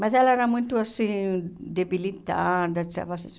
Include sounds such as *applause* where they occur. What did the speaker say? Mas ela era muito assim, debilitada. *unintelligible*